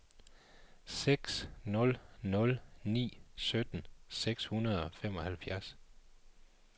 seks nul nul ni sytten seks hundrede og femoghalvfjerds